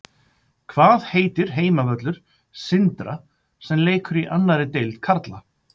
Hvað heitir heimavöllur Sindra sem leikur í annarri deild karla?